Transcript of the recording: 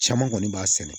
Caman kɔni b'a sɛnɛ